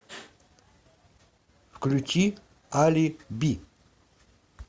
включи али би